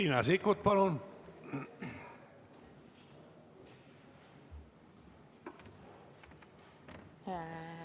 Riina Sikkut, palun!